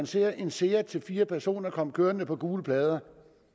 ser en seat til fire personer komme kørende på gule plader